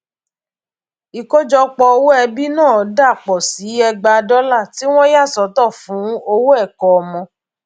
ìkójọpọ owó ẹbí náà dà pọ sí ẹgbàá dọlà tí wọn yà sọtọ fún owó ẹkọ ọmọ